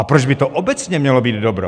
A proč by to obecně mělo být dobro?